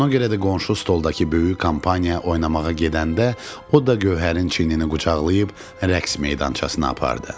Ona görə də qonşu stoldakı böyük kampaniya oynamağa gedəndə o da gövhərin çiyinini qucaqlayıb rəqs meydançasına apardı.